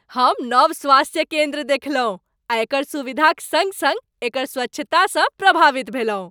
हम नव स्वास्थ्य केन्द्र देखलहुँ आ एकर सुविधाक सङ्ग सङ्ग एकर स्वच्छतासँ प्रभावित भेलहुँ।